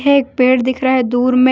एक पेड़ दिख रहा है दूर में--